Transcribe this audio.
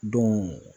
Don